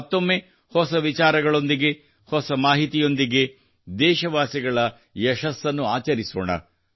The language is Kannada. ಮತ್ತೊಮ್ಮೆ ಹೊಸ ವಿಚಾರಗಳೊಂದಿಗೆ ಹೊಸ ಮಾಹಿತಿಯೊಂದಿಗೆ ದೇಶವಾಸಿಗಳ ಯಶಸ್ಸನ್ನು ಆಚರಿಸೋಣ